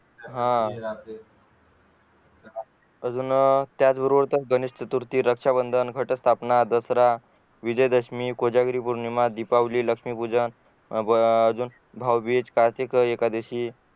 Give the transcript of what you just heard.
हा अजून त्याच बरोबर गणेशचतुर्थी रक्षाबंधन घटस्थापना दसरा विजय दशमी कोजागिरीपोर्णीमा दीपावली लक्षमीपूजन अं अजून भाऊबीज कार्तिकीएकादशी